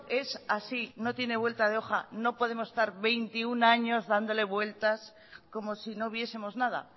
esto es así no tiene vuelta de hoja no podemos estar veintiuno años dándole vueltas como si no viesemos nada